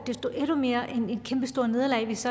desto mere et kæmpestort nederlag hvis